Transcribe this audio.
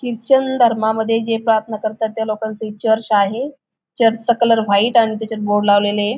Christian धर्मामध्ये जे प्रार्थना करतात त्या लोकांचे हे चर्च आहे. चर्चचा कलर व्हाईट आणि त्याच्यात बोर्ड लावलेलेय.